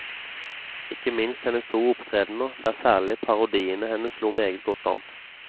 Ikke minst hennes to opptredener, der særlig parodiene hennes slo meget godt an.